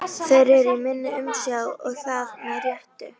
Þeir eru í minni umsjá og það með réttu.